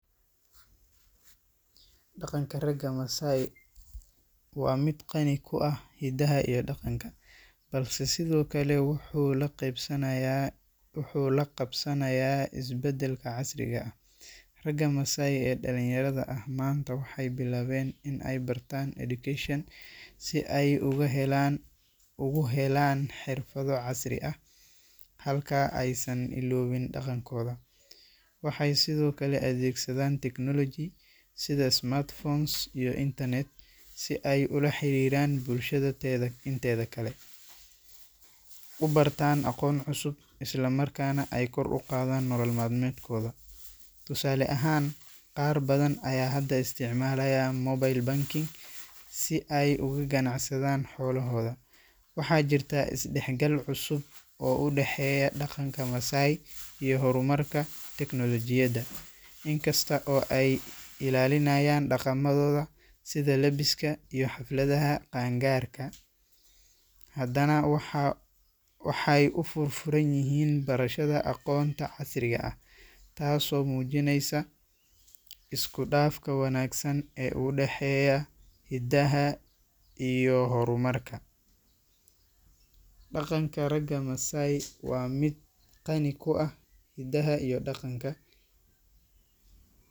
Dhaqanka ragga Maasai waa mid qani ku ah hiddaha iyo dhaqanka, balse sidoo kale wuxuu la qeebsanaya wuxuu la qabsanayaa isbeddelka casriga ah. Ragga Maasai ee dhallinyarada ah maanta waxay bilaabeen inay bartaan education si ay ugu helaan ugu helaan xirfado casri ah, halka aysan iloobin dhaqankooda. Waxay sidoo kale adeegsadaan technology sida smartphones iyo internet si ay ula xiriiraan bulshada teedha inteeda kale, u bartaan aqoon cusub, isla markaana ay kor ugu qaadaan nolol maalmeedkooda. Tusaale ahaan, qaar badan ayaa hadda isticmaalaya mobile banking si ay uga ganacsadaan xoolohooda. Waxaay jirta is dhexgal cusub oo u dhexeeya dhaqanka Maasai iyo horumarka tiknoolajiyadda. Inkasta oo ay ilaalinayaan dhaqamadooda sida lebiska iyo xafladaha qaan-gaarka, haddana waxaay waxay u furfuran yihiin barashada aqoonta casriga ah, taasoo muujinaysa isku dhafka wanaagsan ee u dhexeeya hiddaha iyo horumarka daqanka raga Masai wa mid qani ku ah hidaha iyo danka .